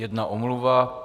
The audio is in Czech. Jedna omluva.